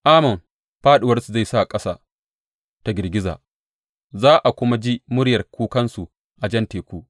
Amon fāɗuwarsu zai sa ƙasa ta girgiza; za a kuma ji muryar kukansu a Jan Teku.